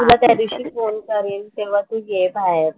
मी तुला त्या दिवशी फोन करेन तेव्हा तू ये बाहेर.